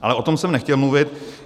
Ale o tom jsem nechtěl mluvit.